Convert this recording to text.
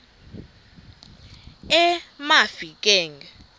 emafikeng